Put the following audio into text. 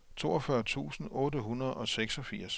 toogfyrre tusind otte hundrede og seksogfirs